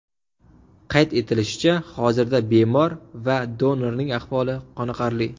Qayd etilishicha, hozirda bemor va donorning ahvoli qoniqarli.